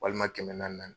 Walima kɛmɛ naani